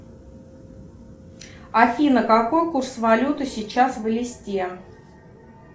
афина какой курс валюты сейчас в элисте